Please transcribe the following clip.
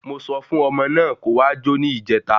Mo sọ fún ọmọ náà kó wá jo ni ìjèta!